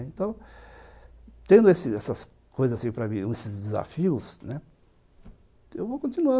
Então, tendo essas coisas para mim, esses desafios, né, eu vou continuar.